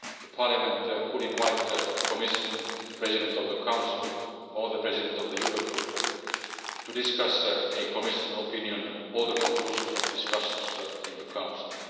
Parliament could invite the Commission, the President of the Council or the President of the Eurogroup to discuss a Commission opinion or the conclusions of discussions in the Council.